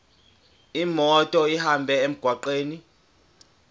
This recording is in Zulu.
imoto ihambe emgwaqweni